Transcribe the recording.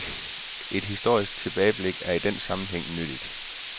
Et historisk tilbageblik er i den sammenhæng nyttigt.